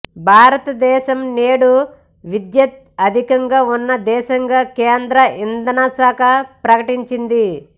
భారత దేశం నేడు విద్యుత్ అధి కంగా ఉన్న దేశంగా కేంద్ర ఇంధనశాఖ ప్రకటించింది